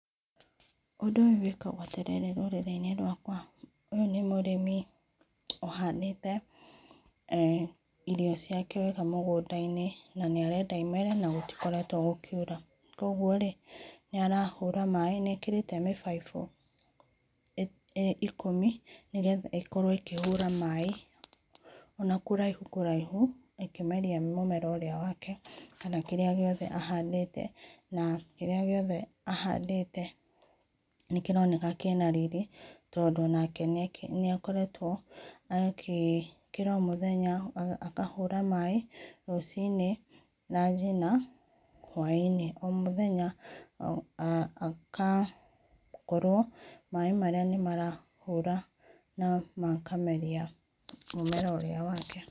ũndũ ũyũ wĩkagwo atĩ rĩrĩ rũrĩrĩ inĩ rwakwa, ũyũ nĩ mũrĩmi, ũhandĩte eeh irio ciake wega mũgũnda inĩ, na nĩarenda imere na gũtĩkoretwo gũkĩũra, kwogwo nĩ arahũra maĩ, nĩekerĩte mĩbaĩbũ ĩkũmĩ nĩ getha ĩkorwo ĩkĩhũra maĩ, ona kũraĩhũ kũraĩhũ ĩkĩmerĩa mũmera ũrĩa wake kana kĩrĩa gĩothe ahandĩte, na kĩrĩa gĩothe ahandĩte, nĩkĩroneka kĩna riri tondũ onake, nĩa koretwo akĩ, ũkĩra o mũthenya akahũra maĩ rũcĩni, ranji na hwa inĩ o mũthenya, agakorwo maĩ marĩa nĩmarahũra, na makameria, mũmera ũrĩa wake.